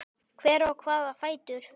Hver á hvaða fætur?